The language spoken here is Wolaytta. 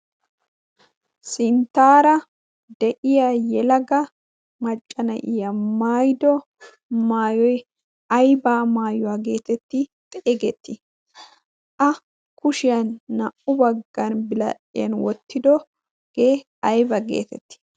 Sinttaara de'iya yelaga macca na'iyaa maayido maayoy aybaa maayuwaa geetetti xeegettii? A kushiyan naa'u baggan biradhdhiyan wottidogee ayba geetettii?